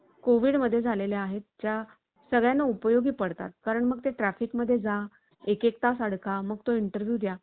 अर्थतज्ज्ञ पॉल क्रुग~ अं क्रुगमन यांनी ही प्रणाली प्रस्तुत झाल्यानंतर लगेच व्यक्त केले आहे. उदाहरण द्यायचं तर भविष्यात ही प्रणाली search engines ची जागा घेऊ शकली